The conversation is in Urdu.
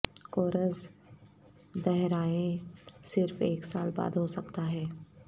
کورس دہرائیں صرف ایک سال بعد ہو سکتا ہے